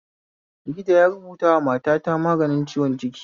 Likita yarubutawa matata magani ciwon ciki